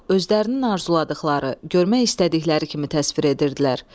Özlərinin arzuladıqları, görmək istədikləri kimi təsvir edirdilər.